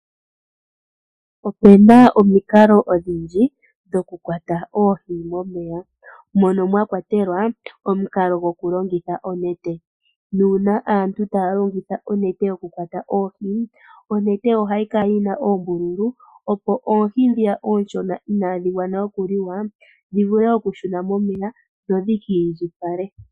Opu na omikalo odhindji dhokukwata oohi momeya. Mono mwa kwatelwa omukalo gokulongitha onete. Uuna aantu taya longitha onete yokukwata oohi, onete ohayi kala yi na oombululu, opo oohi ndhoka oonshona inaadhi adha okuliwa dhi vule okushuna momeya dho dhi ki indjipale.